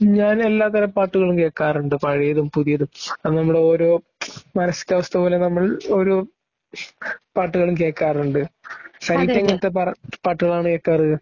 ഞാനെല്ലാത്തരം പാട്ടുകളും കേൾക്കാറുണ്ട്. പഴയതും പുതിയതും ഓരോ പാട്ടുകളും കേൾക്കാറുണ്ട്. സനീറ്റാ എങ്ങനെത്തെ പാട്ടുകളാണ് കേൾക്കാറ്